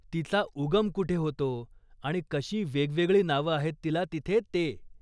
तिचा उगम कुठे होतो आणि कशी वेगवेगळी नावं आहेत तिला तिथे ते ?